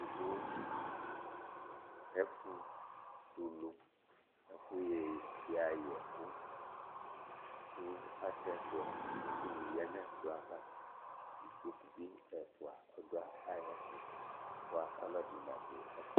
Ɛfʋ tɛ ʋlu Ɛfʋ ya yɛku kʋ atɛ ɛkplɔ kʋ ɛkʋ ni ya nʋ ɛkplɔ bi ɛfʋa ɔdu ayʋɛtu bʋa ɔlɔdi nadu ɛƒɛɛ